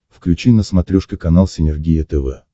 включи на смотрешке канал синергия тв